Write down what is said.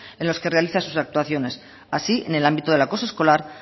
en los que realiza sus actuaciones así en el ámbito del acoso escolar